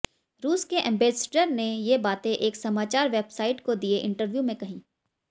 रूस के एम्बेसडर ने ये बातें एक समाचार वेबसार्इट को दिए इंटरव्यू में कहीं